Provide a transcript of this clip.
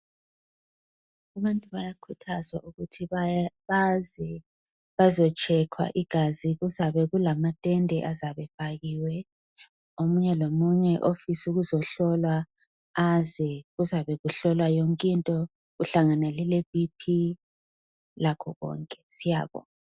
Abantu bayakhuthazwa ukuthi baze bazetshekhwa igazi kuzabe kulamatende azabe efakiwe omunye lomunye ofisa ukuzohlola aze kuzabe kuhlolwa yonke into kuhlangene leBP lakho konke siyabonga.